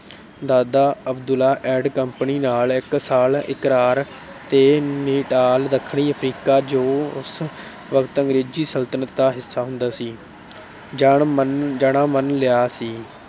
ਦਾਦਾ Abdulla and company ਨਾਲ ਇੱਕ ਸਾਲਾ ਇਕਰਾਰ ਤੇ Nital ਦੱਖਣੀ ਅਫਰੀਕਾ ਜੋ ਉਸ ਵਕਤ ਅੰਗਰੇਜ਼ੀ ਸਲਤਨਤ ਦਾ ਹਿੱਸਾ ਹੁੰਦਾ ਸੀ, ਜਾਣਾ ਮੰਨ ਲਿਆ ਸੀ।